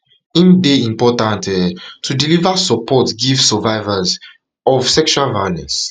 im dey important um to deliver support give survivors give survivors um of sexual violence